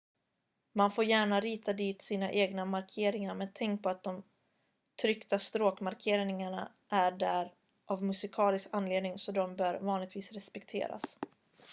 man får gärna rita dit sina egna markeringar men tänk på att de tryckta stråkmarkeringarna är där av en musikalisk anledning så de bör vanligtvis respekteras